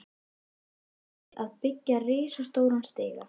Með því að byggja risastóran stiga?